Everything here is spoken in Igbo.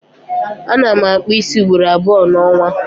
Ana m akpụ ísí ugboro abụọ n'ọnwa